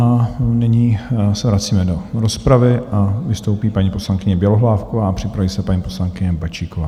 A nyní se vracíme do rozpravy a vystoupí paní poslankyně Bělohlávková a připraví se paní poslankyně Bačíková.